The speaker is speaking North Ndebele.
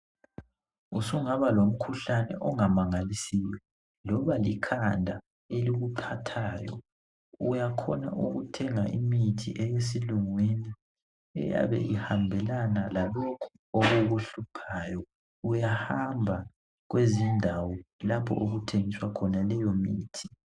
Usungaba lomkhuhlane ongamangalisiyo loba likhanda elikukhathayo, uyakhona ukuthenga imithi eyesilungwini eyabe ihambelana lalokho okukuhluphayo. Uyahamba kwezindawo lapho okuthengiswa khona leyo mithi.